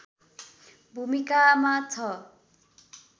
भूमिकामा छ